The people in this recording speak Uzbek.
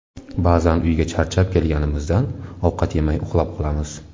Ba’zan uyga charchab kelganimizdan ovqat yemay uxlab qolamiz.